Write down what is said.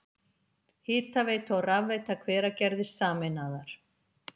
Hitaveita og rafveita Hveragerðis sameinaðar.